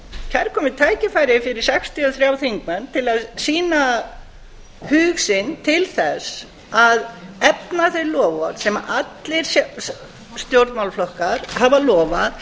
kærkomið tækifæri fyrir sextíu og þrjá þingmenn öll að sýna hug sinn til þess að efna þau loforð sem allir stjórnmálaflokkar hafa lofað